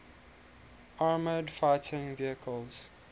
armored fighting vehicles